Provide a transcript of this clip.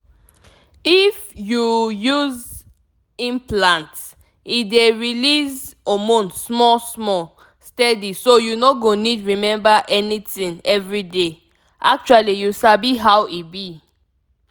if you you use implant e dey release hormone small-small steady so you no go need remember anything every day. actually you sabi how e be